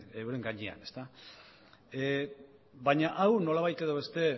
euren gainean baina hau nolabait edo beste